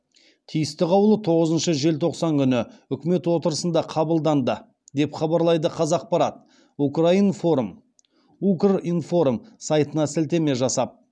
тиісті қаулы тоғызыншы желтоқсан күні үкімет отырысында қабылданды деп хабарлайды қазақпарат укринформ сайтына сілтеме жасап